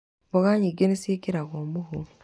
Mboga nyingĩ nĩ ciĩkĩragwo mũhu